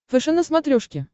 фэшен на смотрешке